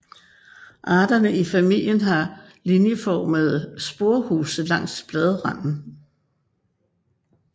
Arterne i familien har linjeformede sporehuse langs bladranden